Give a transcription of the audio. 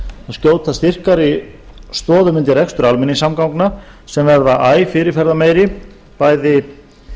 skjóta styrkari stoðum undir rekstur almenningssamgangna sem verða æ fyrirferðarmeiri bæði